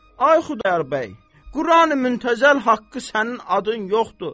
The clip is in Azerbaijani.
Ay Xudayar bəy, Qurani Muntəzəl haqqı sənin adın yoxdur.